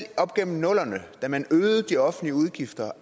op gennem nullerne da man øgede de offentlige udgifter